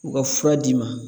U ka fura d'i ma.